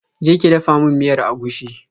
Je ki dafa min miyar agushi.